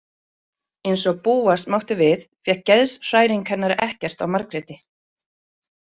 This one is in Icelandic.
Eins og búast mátti við fékk geðshræring hennar ekkert á Margréti.